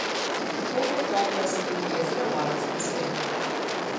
Dokaj topla so tudi jezera v alpskem svetu.